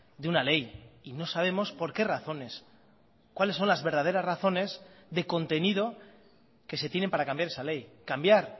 de una ley y no sabemos por qué razones cuales son las verdaderas razones de contenido que se tienen para cambiar esa ley cambiar